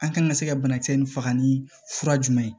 An kan ka se ka banakisɛ nun faga ni fura jumɛn ye